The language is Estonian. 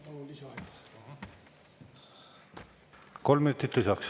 Kolm minutit lisaks.